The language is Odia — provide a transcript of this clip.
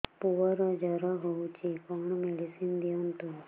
ପୁଅର ଜର ହଉଛି କଣ ମେଡିସିନ ଦିଅନ୍ତୁ